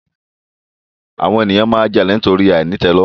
Àwon ènìyàn n jalè nítorí àìnítèlòrùn